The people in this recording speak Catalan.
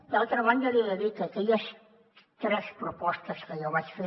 d’altra banda li he de dir que aquelles tres propostes que jo vaig fer